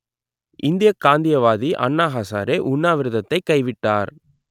இந்தியக் காந்தியவாதி அண்ணா ஹசாரே உண்ணாவிரதத்தைக் கைவிட்டார்